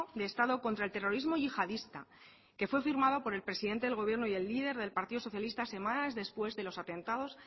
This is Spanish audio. de estado contra el terrorismo yihadista que fue firmado por el presidente del gobierno y el líder del partido socialista semanas después de los atentados